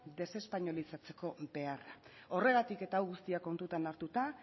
desespainolizatzeko beharra horregatik eta hau guztia kontutan hartuta